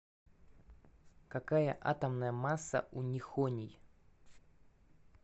какая атомная масса у нихоний